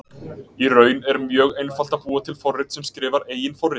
Í raun er mjög einfalt að búa til forrit sem skrifar eigin forrit.